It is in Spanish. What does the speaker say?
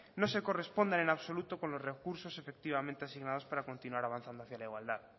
no se corresponda en absoluto con los recursos efectivamente asignadas para continuar avanzando hacia la igualdad